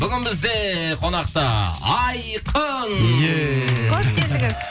бүгін бізде қонақта айқын хош келдіңіз